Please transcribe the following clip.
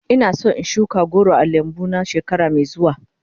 Ina son in shuka goro a lambu na shekara mai zuwa.